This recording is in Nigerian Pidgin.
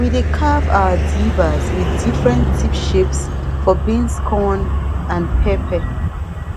we dey carve our dibbers with different tip shapes for beans corn and pepper